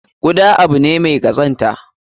Kuda abu ne mai kazanta.